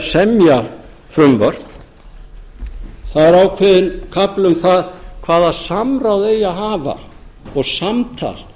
semja frumvörp það er ákveðinn kafli um það hvaða samráð eigi að hafa og samtal